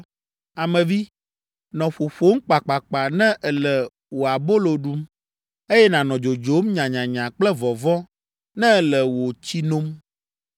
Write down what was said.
“Ame vi, nɔ ƒoƒom kpakpakpa ne èle wò abolo ɖum, eye nànɔ dzodzom nyanyanya kple vɔvɔ̃ ne èle wò tsi nom.